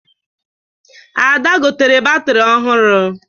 Ada gotere batrị ọhụrụ